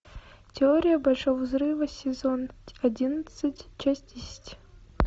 теория большого взрыва сезон одиннадцать часть десять